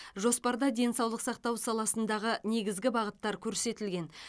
жоспарда денсаулық сақтау саласындағы негізгі бағыттар көрсетілген